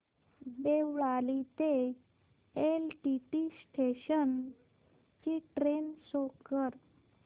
देवळाली ते LTT station ची train show कर